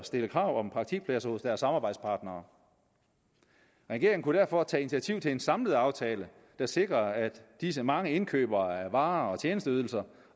stille krav om praktikpladser hos deres samarbejdspartnere regeringen kunne derfor tage initiativ til en samlet aftale der sikrer at disse mange indkøbere af varer og tjenesteydelser